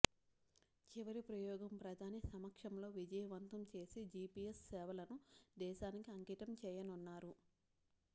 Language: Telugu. చివరి ప్రయోగం ప్రధాని సమక్షంలో విజయవంతం చేసి జిపిఎస్ సేవలను దేశానికి అంకితం చేయనున్నారు